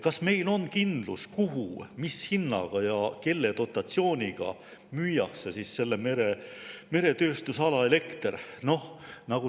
Kas meil on kindlus, kuhu, mis hinnaga ja kelle dotatsiooniga müüakse selle meretööstusala elekter?